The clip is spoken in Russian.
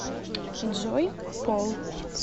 джой пол